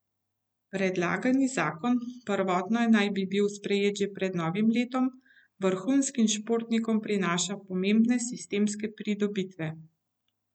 Predlagani zakon, prvotno naj bi bil sprejet že pred novim letom, vrhunskim športnikom prinaša pomembne sistemske pridobitve.